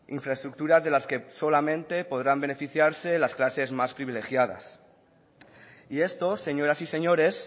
infraestructuras de las que solamente podrán beneficiarse las clases más privilegiadas y esto señoras y señores